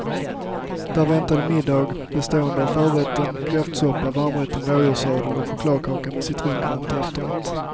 Där väntade middag bestående av förrätten kräftsoppa, varmrätten rådjurssadel och chokladkaka med citronkräm till efterrätt.